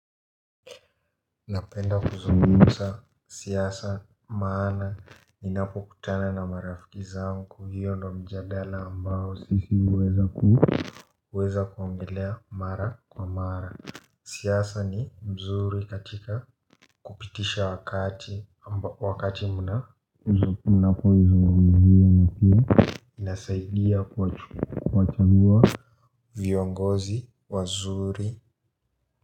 Napenda kuzungumza siasa maana ninapo kutana na marafiki zangu, hiyo ndio mjadala ambao sisi huweza kuweza kuongelea mara kwa mara. Siasa ni mzuri katika kupitisha wakati muda. Mnapo izungumzia na kina. Inasaidia kuwachagua viongozi wazuri.